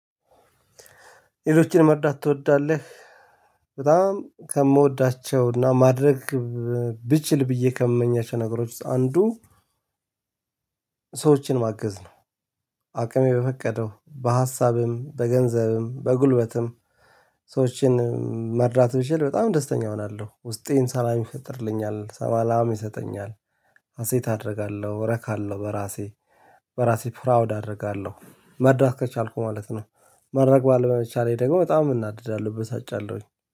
ሌሎችን መርዳት ትወዳለህ? በጣም ከምወዳቸውና ማድረግ ብችል ብዬ ከምመኛቸው ነገሮች ውስጥ አንዱ ሰዋችን ማገዝ ነው። አቅሜ በፈቀደው በሀሳብም በንዘብም በጉልበትም ሰዋችን መርዳት ብችል በጣም ደስተኛ እሆናለሁ ውስጤን ሰላም ይፈጥርልኛል ሰላም ይሰጠኛል። ሀሴት አደርጋለሁ እረካለሁ በራሴ በራሴ ፕራውድ አደርጋለሁ መርዳት ከቻልኩ ማለት ነው። ማድረግ ባለመቻሌ ደግሞ በጣም እናደዳለሁ እበሳጫለሁኝ